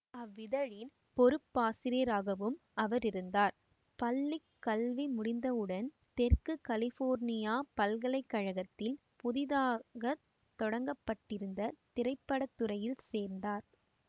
அவ்விதழின் பொறுப்பாசிரியராகவும் அவர் இருந்தார் பள்ளி கல்வி முடிந்தவுடன் தெற்கு கலிபோர்னியா பல்கலை கழகத்தில் புதிதாக தொடங்கப்பட்டிருந்த திரைப்பட துறையில் சேர்ந்தார்